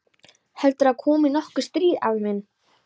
Heldurðu að komi nokkuð stríð, afi minn?